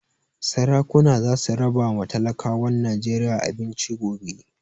Sarakuna za su raba ma talakawan Najeriya abinci gobe